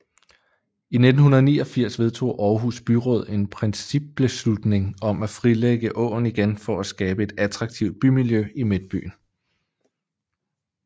I 1989 vedtog Aarhus Byråd en principbeslutning om at frilægge åen igen for at skabe et attraktivt bymiljø i Midtbyen